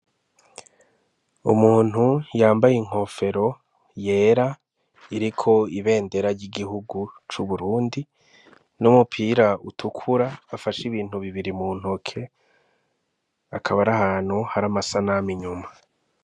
Umuntu yambaye inkofero yera iriko ibendera ry'igihugu c'uburundi n'umupira utukura bafashe ibintu bibiri mu ntoke akabari ahantu hari amasa nama inyuma.